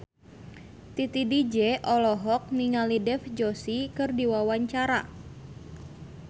Titi DJ olohok ningali Dev Joshi keur diwawancara